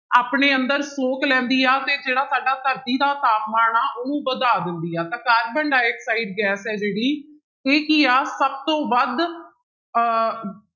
ਆਪਣੇ ਅੰਦਰ ਸੋਖ ਲੈਂਦੀ ਆ ਤੇ ਜਿਹੜਾ ਸਾਡਾ ਧਰਤੀ ਦਾ ਤਾਪਮਾਨ ਆਂ ਉਹਨੂੰ ਵਧਾ ਦਿੰਦੀ ਆ, ਤਾਂ ਕਾਰਬਨ ਡਾਇਆਕਸਾਇਡ ਗੈਸ ਹੈ ਜਿਹੜੀ ਇਹ ਕੀ ਆ ਸਭ ਤੋਂ ਵੱਧ ਅਹ